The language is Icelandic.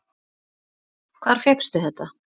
Hvar fékkstu þetta?